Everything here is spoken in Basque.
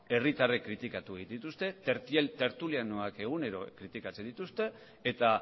herritarrak kritikatu egiten dituzte tertulianoak egunero kritikatzen dituzte eta